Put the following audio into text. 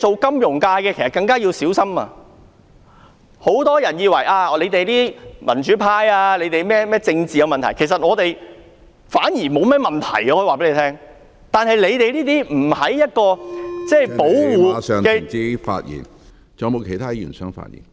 金融業從業者更要小心，很多人以為民主派擔心有人會因其政治意見而被移交，其實我們並不擔心這點，但金融業從業者在不受保護......